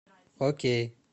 окей